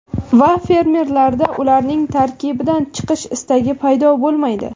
Va fermerlarda ularning tarkibidan chiqish istagi paydo bo‘lmaydi.